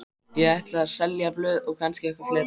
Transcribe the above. Ég ætla að selja blöð og kannski eitthvað fleira.